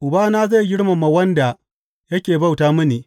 Ubana zai girmama wanda yake bauta mini.